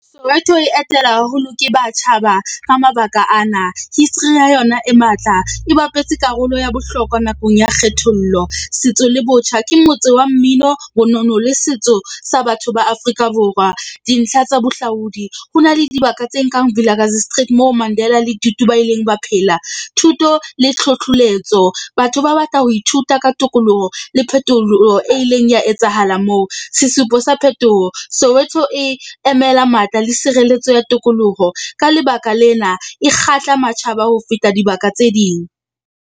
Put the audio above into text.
Soweto e etela haholo ke matjhaba ka mabaka ana. History ya yona e matla, e bapetse karolo ya bohlokwa nakong ya kgethollo, setso le botjha. Ke motse wa mmino, bonono le setso sa batho ba Afrika Borwa. Dintlha tsa bohlaudi, ho na le dibaka tse nkang Vilakazi Street moo Mandela le Tutu ba ileng ba phela. Thuto le . Batho ba batla ho ithuta ka tokoloho le phetoloho e ileng ya etsahala moo. Sesupo sa phetoho Soweto e emela matla le sireletso ya tokoloho ka lebaka lena e kgahla matjhaba ho feta dibaka tse ding.